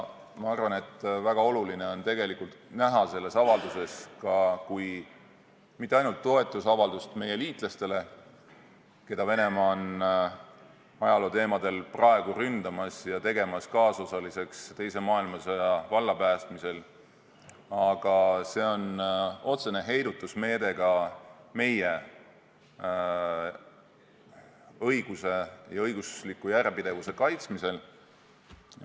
Ma arvan, et väga oluline on näha selles avalduses mitte ainult toetusavaldust meie liitlastele, keda Venemaa on ajalooteemadel praegu ründamas ja tegemas kaasosaliseks teise maailmasõja vallapäästmisel, vaid see on ka otsene heidutusmeede meie õiguse ja õigusliku järjepidevuse kaitsmisel.